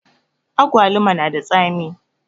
Awaluma na da tsami